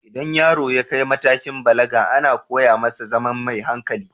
Idan yaro ya kai matakin balaga, ana koya masa ya zama mai hankali.